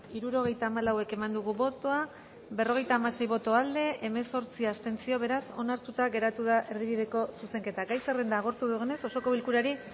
hirurogeita hamalau eman dugu bozka berrogeita hamasei boto aldekoa hemezortzi abstentzio beraz onartuta geratu da erdibideko zuzenketa gai zerrenda agortu dugunez osoko bilkurari